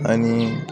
Ani